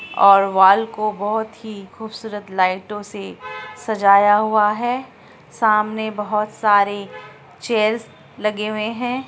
और वाल को बहुत ही खूबसूरत लाइटों से सजाया हुआ है सामने बहुत सारे चेयर्स लगाए गए हैं।